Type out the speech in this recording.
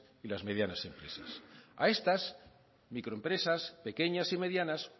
y las medianas empresas a estas microempresas pequeñas y medianas